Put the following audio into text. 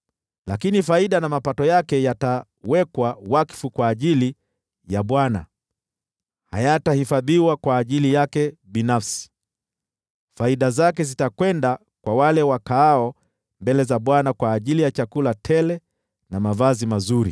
Lakini faida na mapato yake yatawekwa wakfu kwa Bwana ; hayatahifadhiwa wala kufichwa. Faida zake zitakwenda kwa wale wakaao mbele za Bwana kwa ajili ya chakula tele na mavazi mazuri.